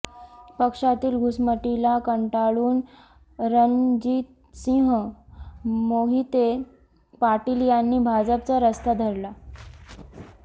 पक्षातील घुसमटीला कंटाळून रणजितसिंह मोहिते पाटील यांनी भाजपचा रस्ता धरला